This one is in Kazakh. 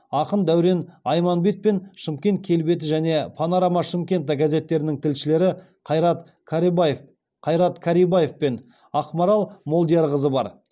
ақын дәурен айманбет пен шымкент келбеті және панорама шымкента газеттерінің тілшілері қайрат карибаев пен ақмарал молдиярқызы бар